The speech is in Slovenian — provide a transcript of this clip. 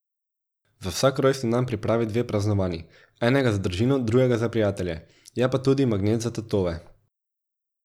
Za vsak rojstni dan pripravi dve praznovanji, enega za družino, drugega za prijatelje, je pa tudi magnet za tatove.